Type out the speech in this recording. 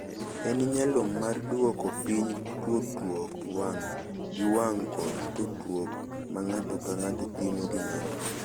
En nyalo mar dwoko piny tudruok wang’ gi wang’ kod tudruok ma ng’ato ka ng’ato timo gi ng’ato.